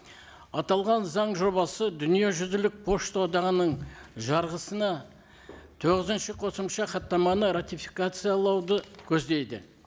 аталған заң жобасы дүниежүзілік пошта одағының жарғысына тоғызыншы қосымша хаттаманы ратификациялауды көздейді